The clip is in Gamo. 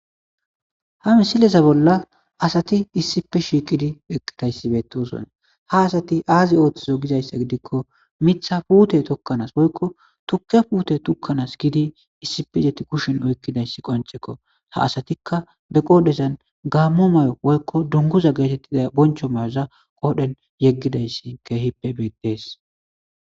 Ha misileza bollan asati issippe shiiqidi eqqida issi bettoosona. Ha asati aazi oottosona gidizsa gidikko, mitsa puthe tokkanas woyko tukke puthe tokkanas gididi issippe getetidi kushe oyqqida issi qonccishees. Ha asatikka qoodan gaamo mayo woyko dunguza getettida boncho mayoza qoodan yeggida issi keehippe bettees.